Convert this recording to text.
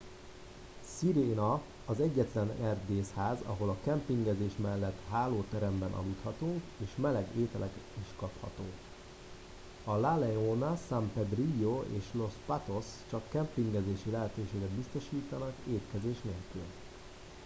a sirena az egyetlen erdészház ahol a kempingezés mellet hálóteremben aludhatunk és meleg ételeket is kapható a la leona san pedrillo és los patos csak kempingezési lehetőséget biztosítanak étkezés nélkül